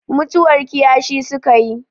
mutuwar kiyashi suka yi